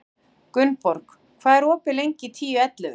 Gunnborg, hvað er opið lengi í Tíu ellefu?